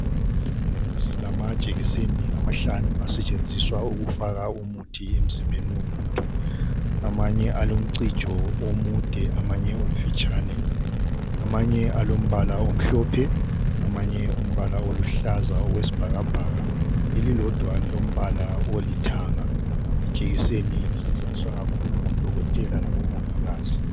Silamajegiseni amahlanu asetshenziswa ukufaka umuthi emzimbeni womuntu. Amanye alomcijo omude amanye omfitshane, amanye alombala omhlophe amanye umbala oluhlaza okwesibhakabhaka. Elilodwa lilombala olithanga. Ijekiseni isetshenziswa kakhulu ngodokotela labomongikazi.